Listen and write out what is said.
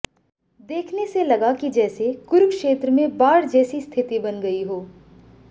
देखने से लगा कि जैसे कुरुक्षेत्र में बाढ़ जैसी स्थिति बन गई हो